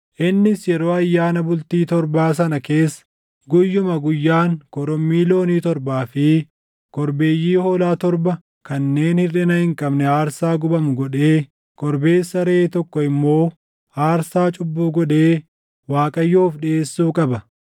Innis yeroo ayyaana bultii torbaa sana keessa guyyuma guyyaan korommii loonii torbaa fi korbeeyyii hoolaa torba kanneen hirʼina hin qabne aarsaa gubamu godhee, korbeessa reʼee tokko immoo aarsaa cubbuu godhee Waaqayyoof dhiʼeessuu qaba.